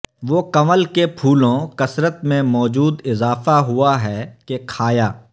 وہ کنول کے پھولوں کثرت میں موجود اضافہ ہوا ہے کہ کھایا